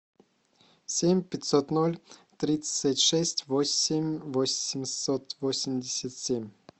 семь пятьсот ноль тридцать шесть восемь восемьсот восемьдесят семь